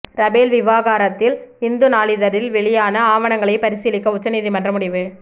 Rafale விவகாரத்தில் இந்து நாளிதழில் வெளியான ஆவணங்களை பரிசீலிக்க உச்சநீதிமன்றம் முடிவு